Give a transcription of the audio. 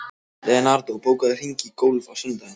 Leonardó, bókaðu hring í golf á sunnudaginn.